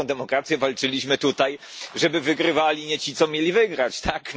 Nie o taką demokrację walczyliśmy tutaj, żeby wygrywali nie ci, co mieli wygrać, tak?